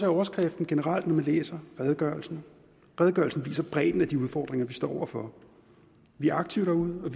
overskrift man generelt man læser redegørelsen redegørelsen viser bredden af de udfordringer vi står over for vi er aktive derude og